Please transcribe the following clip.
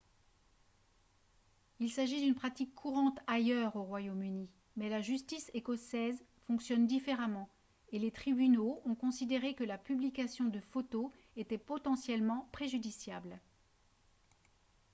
il s'agit d'une pratique courante ailleurs au royaume-uni mais la justice écossaise fonctionne différemment et les tribunaux ont considéré que la publication de photos était potentiellement préjudiciable